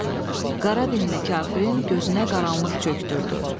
Qara dinli kafirin gözünə qaranlıq çökdürdü.